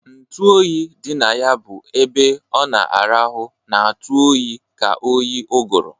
Ntu oyi dị na ya bụ ebe ọ na-arahụ na-atụ oyi ka oyi ụgụrụ.